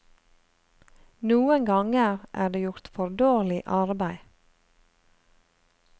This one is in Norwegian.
Noen ganger er det gjort for dårlig arbeid.